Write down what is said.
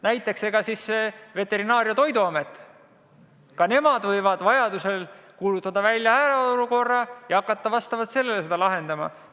Näiteks ka Veterinaar- ja Toiduamet võib vajaduse korral kuulutada välja hädaolukorra ja hakata seda lahendama.